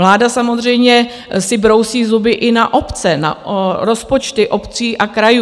Vláda samozřejmě si brousí zuby i na obce, na rozpočty obcí a krajů.